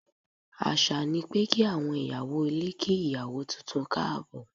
Àṣà ni pé kí àwọn ìyàwó ilé kí ìyàwó tuntun káàbọ̀.